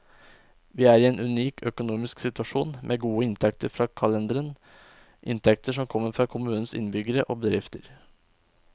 Vi er i en unik økonomisk situasjon, med gode inntekter fra kalenderen, inntekter som kommer fra kommunens innbyggere og bedrifter.